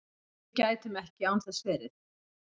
Við gætum ekki án þess verið